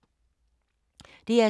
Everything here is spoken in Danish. DR2